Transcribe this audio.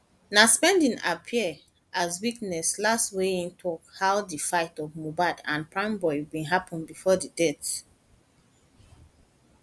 na spending appear as witness last wia im tok how di fight of mohbad and primeboy bin happun bifor di death